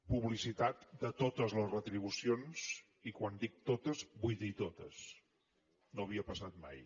publicitat de totes les retribucions i quan dic totes vull dir totes no havia passat mai